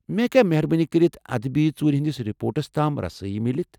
مے٘ ہیكیا مہر بٲنی كرِتھ ادبی ژوٗرِ ہندِس رپورٹس تام رسٲیی میلِتھ ؟